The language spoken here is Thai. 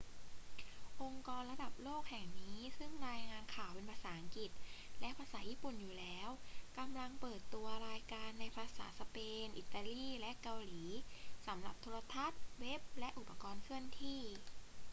องค์กรระดับโลกแห่งนี้ซึ่งรายงานข่าวเป็นภาษาอังกฤษและภาษาญี่ปุ่นอยู่แล้ว กำลังเปิดตัวรายการในภาษาสเปน อิตาลี และเกาหลี สำหรับโทรทัศน์ เว็บ และอุปกรณ์เคลื่อนที่